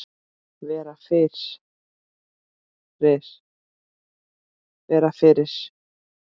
Vera fyrir.